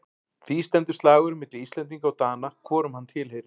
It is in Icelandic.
Því stendur slagurinn milli Íslendinga og Dana hvorum hann tilheyrir.